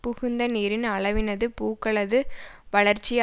புகுந்த நீரின் அளவினது பூக்களது வளர்ச்சி